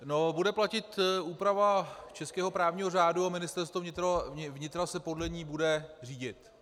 Bude platit úprava českého právního řádu a Ministerstvo vnitra se podle ní bude řídit.